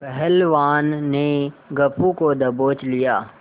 पहलवान ने गप्पू को दबोच लिया